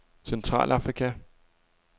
Centralafrika